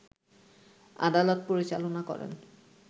আদালত পরিচালনা করেন